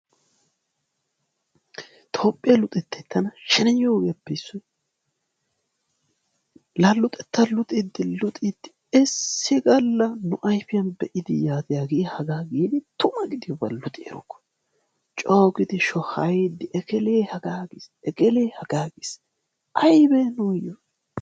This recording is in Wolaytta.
toophphiyaa luxettay tana sheneyiyoo ogiyaappe issoy la luxettaa luxxiidi luxiidi issi gaalla nu ayfiyaan hagee hagaa giidi tuma gidiyaaba luxi erokko coo giidi shohayiidi ekelee hagaa giis ekelee hagaa giis aybee nuyoo?